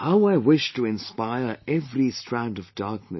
How I wish to inspire every strand of darkness